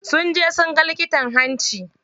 Sun je sunga likitan hanci.